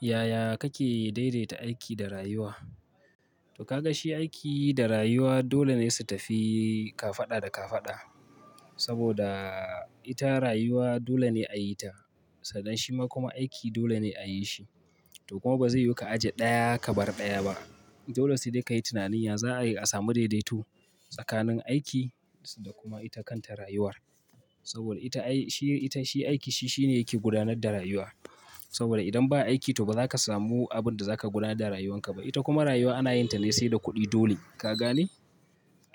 Yaya kake daidaita aiki da rayuwa? To ka ga shi aiki da rayuwa dole ne su tafi kafada da kafada saboda ita rayuwa dole ne a yi ta, sannan shima kuma aiki dole ne a yi shi. To kuma ba zai yu ka ajiye ɗaya ka bar ɗaya ba. Dole sai dai ka yi tunanin ya za ai a samu daidaito tsakanin aiki da kuma ita kanta rayuwar. Saboda ita ai shi ita shi aiki shi shine yake gudanar da rayuwa. Saboda idan ba aiki to ba za ka samu abin da za ka gudanar da rayuwarka ba. Ita kuma rayuwa ana yin ta ne se da kuɗi dole. Ka gane?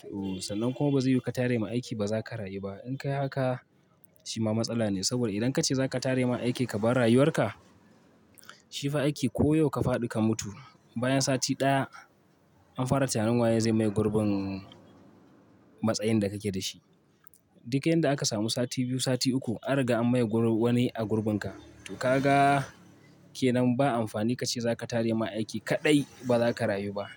To sannan kuma ba zai yu ka tare ma aiki ba za ka rayu ba. In kai haka shi ma matsala ne saboda idan ka ce za ka tare ma aiki ka bar rayuwarka, shi fa aiki ko yau ka fadi ka mutu bayan sati ɗaya an fara tunanin waye zai maye gurbin matsayin da kake da shi. Duk yanda aka samu sati biyu, sati uku an riga an maye wani a gurbinka. To ka ga ke nan ba amfani ka ce za ka tare ma aiki kaɗai ba za ka rayu ba.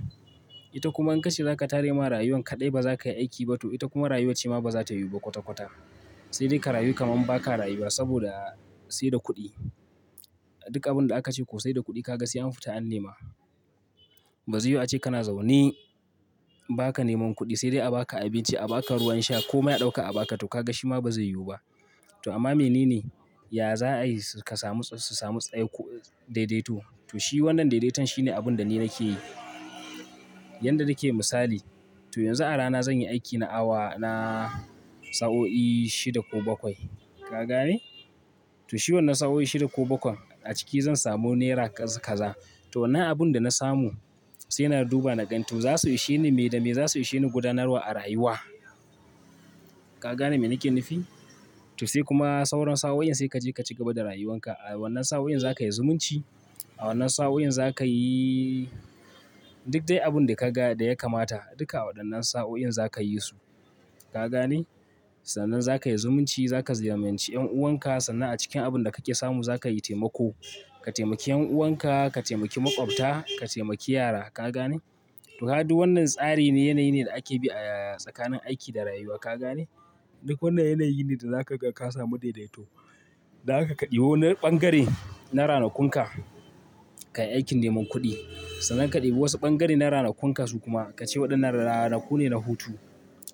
Ita kuma in ka ce za ka tare ma rayuwan kaɗai ba za kai aiki ba to ita kuma rayuwar ce ma ba za ta yu ba kwata kwata. Sai dai ka rayu kaman ba ka rayuwa saboda sai da kuɗi. Duk abin da aka ce ko sai da kuɗi ka ga sai an fita an nema. Ba ze yu a ce kana zaune ba ka neman kuɗi sai dai a ba ka abinci, a ba ka ruwan sha ko mai a ɗauka a ba ka to ka ga shi ma ba zai yiwu ba. To amma me nene, ya za a yi su kasamu su samu tsaiko daidaito? To shi wannan daidaiton shine abin da ni nake yi. Yanda nake misali, to yanzu a rana zan yi aiki na awa na sa'o'i shida ko bakwai. Ka gane? To shi wannan sa'o'i shida ko bakwan a ciki zan samu nera kaz kaza. To wannan abin da na samu sai na duba na gan to za su ishe ni me da me za su ishe ni gudanarwa a rayuwa. Ka gane me nake nufi? To sai kuma sauran sa'o'in sai ka je ka cigaba da rayuwanka. A wannan sa'o'in za ka yi zumunci, a wannan sa'o'in za ka yi duk dai abin da ka ga da ya kamata duka a waɗannan sa'o'in za ka yi su. Ka gane? Sannan za ka yi zumunci, za ka ziyaranci yan'uwanka, sannan a cikin abin da kake samu za ka yi taimako. Ka taimaki yan'uwanka, ka taimaki maƙwabta, ka taimaki yara. Ka gane? To kaga duw wannan tsari ne, yanayi ne da ake bi a tsakanin aiki da rayuwa. Ka gane? Duk wannan yanayi ne da za ka ga ka samu daidaito. Dan haka ka ɗibi wani ɓangare na ranakunka kai aikin neman kuɗi. Sannan ka ɗebi wasu ɓangare na ranakunka su kuma ka ce waɗannan ranaku ne na hutu.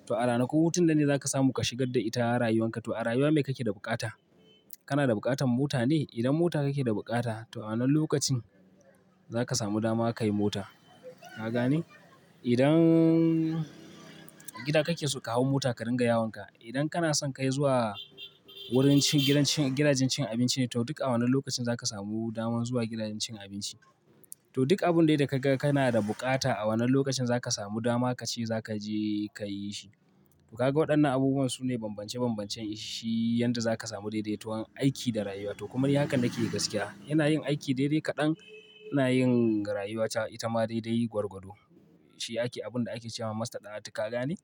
To a ranakun hutun nan ne za ka samu ka shigad da ita rayuwanka. To a rayuwa me kake da bukata? Kana da bukatan mota ne? Idan mota kake da bukata to a wannan lokacin za ka samu dama ka yi mota. Ka gane? Idan gida kake so ka hau mota ka ringa yawonka, idan kana son kai zuwa wurin cin gidan cin gidajen cin abinci to duk a wannan lokacin za ka samu daman zuwa gidajen cin abinci. To duk abun dai da ka ga kana da bukata a wannan lokacin za ka samu dama ka ce za ka je ka yi shi. To ka ga waɗannan abubuwan su ne bambance bambancen shi yanda za ka samu daidaiton aiki da rayuwa. To kuma ni hakan nake gaskiya. Ina yin aiki daidai kaɗan, ina yin rayuwata ita ma daidai gwargwado. Shi ake abun da ake cewa masta ɗa'atu. Ka gane?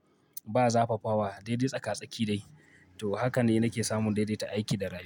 Ba zafafawa daidai tsaka tsaki dai. To hakan ne nake samun daidaita aiki da rayuwa.